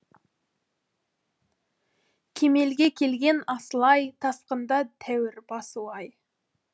кемелге келген асыл ай тасқында тәуір басуы ай